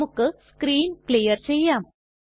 നമുക്ക് screen clear ചെയ്യാം